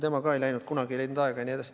Ta ei läinud, kunagi ei leidnud aega jne.